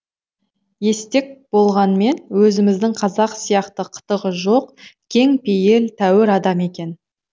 естек болғанмен өзіміздің қазақ сияқты қытығы жоқ кең пейіл тәуір адам екен